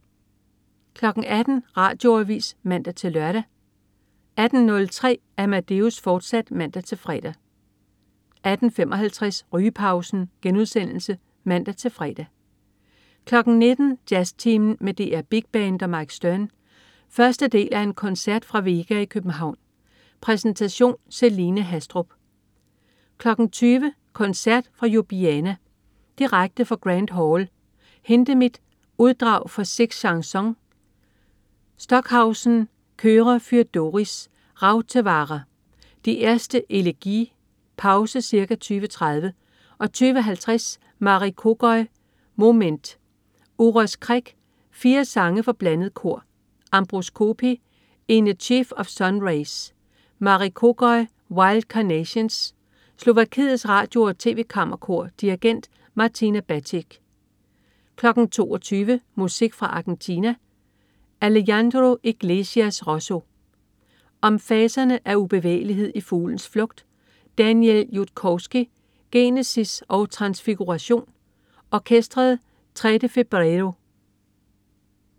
18.00 Radioavis (man-lør) 18.03 Amadeus, fortsat (man-fre) 18.55 Rygepausen* (man-fre) 19.00 Jazztimen med DR Big Band og Mike Stern. Første del af en koncert fra Vega i København. Præsentation: Celine Haastrup 20.00 Koncert fra Ljubljana. Direkte fra Grand Hall. Hindemith: Uddrag fra Six Chansons. Stockhausen: Chöre für Doris. Rautavaara: Die erste Elegie. Pause ca. 20.30. Ca 20.50 Marij Kogoj: Moment. Uros Krek: Fire sange for blandet kor. Ambroz Copi: In a sheaf of sun rays. Marij Kogoj: Wild Carnations. Slovakiets Radio og TV Kammerkor. Dirigent: Martina Batic 22.00 Musik fra Argentina. Alejandro Iglesias Rossi: Om faserne af ubevægelighed i fuglens flugt. Daniel Judkovski: Genesis og Transfiguration. Orkestret Tres de Febrero